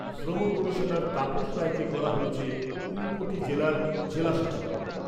শ্রমকমিশনার তাপস রায়কে করা হয়েছে ঊনকোটি জেলার জেলাশাসক।